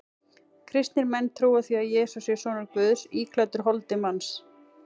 Kristnir menn trúa því að Jesús sé sonur Guðs íklæddur holdi manns.